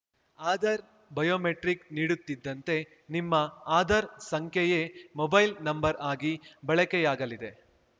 Aadhaar biometric ನೀಡುತ್ತಿದ್ದಂತೆ ನಿಮ್ಮ ಆಧಾರ್ ಸಂಖ್ಯೆಯೇ ಮೊಬೈಲ್‌ ನಂಬರ್ ಆಗಿ ಬಳಕೆಯಾಗಲಿದೆ